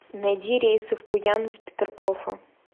найди рейсы в пуян из петергофа